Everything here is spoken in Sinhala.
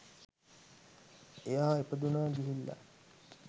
එයා ඉපදුනා ගිහිල්ලා